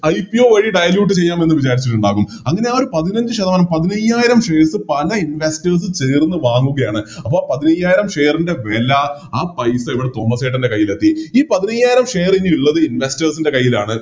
IPO വഴി dilute ചെയ്യാമെന്ന് വിചാരിച്ചട്ടിണ്ടാവും അങ്ങനെ ആ ഒരു പതിനഞ്ച് ശതമാനം പതിനയ്യായിരം Shares പല Investors ചേർന്ന് വാങ്ങുകയാണ് അപ്പോം പതിനയ്യായിരം Share ൻറെ വെല ആ പൈസ ഇവിടെ തോമസ്സേട്ടൻറെ കൈയിലെത്തി ഈ പതിനയ്യായിരം Share എനി ഇള്ളത് Investors ൻറെ കൈയിലാണ്